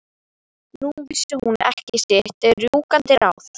Nú vissi hún ekki sitt rjúkandi ráð.